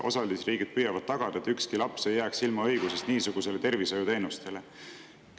Osalisriigid püüavad tagada, et ükski laps ei jääks ilma õigusest niisugustele tervishoiuteenustele.